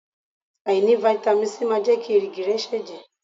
Àìní fáítámì Sí máa jẹ́ kí èrìgì ẹ ṣẹ̀jẹ̀.